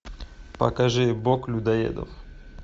покажи бог людоедов